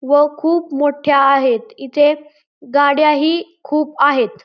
व खूप मोठ्या आहेत इथे गाड्या ही खूप आहेत.